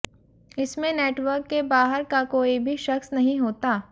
इसमें नेटवर्क के बाहर का कोई भी शख्स नहीं होता